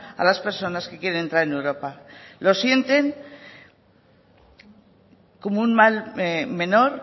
a las personas que quieren entrar en europa lo sienten como un mal menor